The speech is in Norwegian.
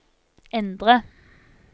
endre